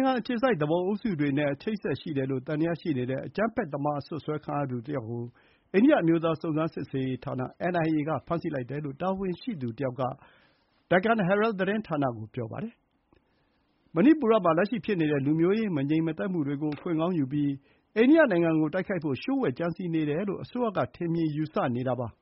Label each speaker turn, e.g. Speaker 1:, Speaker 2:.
Speaker 1: င်ငံအခြေစိုက် သူပုန်အုပ်စုတွေနဲ့ အချိတ်အဆက်ရှိတယ်လို့သံသယရှိနေတဲ့ အကြမ်းဖက်သမား အစွပ်စွဲခံရသူတယောက်ကို အိန္ဒိယ အမျိုးသားစုံစမ်းစစ်ဆေးရေးဌာန (NIA) က ဖမ်းဆီးလိုက်တယ်လို့ တာဝန်ရှိသူတယောက်က ဒက္ကန် ဟဲရဲ သတင်းဌာန (Deccanherald) ကို ပြောပါတယ်။ မဏိပူရမှာ လက်ရှိဖြစ်နေတဲ့ လူမျိုးရေးမငြိမ်မသက်မှုတွေကို အခွင့်ကောင်းယူပြီး အိန္ဒိယနိုင်ငံကိုတိုက်ခိုက်ဖို့ လျှို့ဝှက်ကြံစည်နေတယ်လို့ အစိုးရက ထင်မြင်ယူဆနေတာပါ။